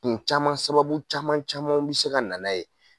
Kun caman sababu caman caman bɛ se ka nana ye.